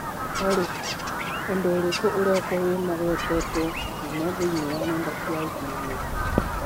Olly, ũndũ ũrĩkũ ũrekwo wĩ magwetetwo mũno thĩinĩ wa nenda cia ũkĩnyaniria